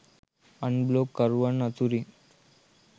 අන් බ්ලොග් කරුවන් අතුරින්